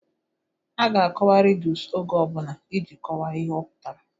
A ga-akọwa ridus oge ọbụla iji ghọta ihe ọ pụtara